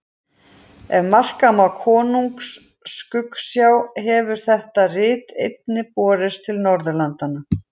Ef marka má Konungs skuggsjá hefur þetta rit einnig borist til Norðurlanda.